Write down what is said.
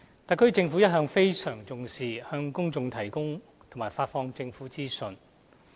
特區政府一向非常重視向公眾提供和發放政府的資訊。